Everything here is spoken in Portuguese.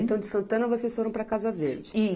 Então, de Santana, vocês foram para Casa Verde?